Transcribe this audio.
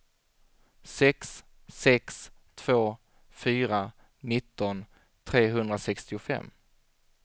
sex sex två fyra nitton trehundrasextiofem